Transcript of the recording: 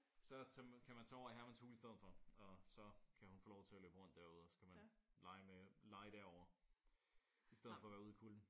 Så tage kan man tage over i Hermans hule i stedet for og så kan hun få lov til at løbe rundt derude. Så kan man lege med lege derovre i stedet for at være ude i kulden